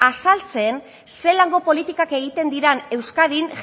azaltzen zelango politikak egiten diran euskadin